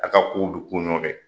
A ka kow bɛ kun ɲɔgɔn fɛ.